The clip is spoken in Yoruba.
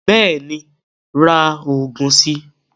Bẹ́ẹ̀ni ra oògùn si